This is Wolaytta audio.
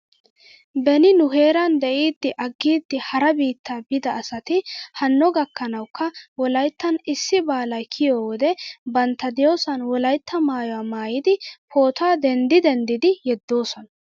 Beni nu heeran de'iidi aggidi hara biitta biida asati hanno gakkanawkka wolayttan issi baalay kiyoo wode bantta diyoosan wolaytta maayuwaa maayidi pootuwaa denddi denddidi yedoosona